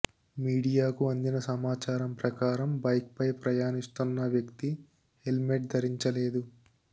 మీడియాకు అందిన సమాచారం ప్రకారం బైక్ పై ప్రయాణిస్తున్న వ్యక్తి హెల్మెట్ ధరించలేదు